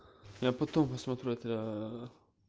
я потом посмотрю это